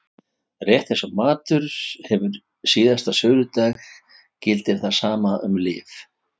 Rétt eins og matur hefur síðasta söludag gildir það sama um lyf.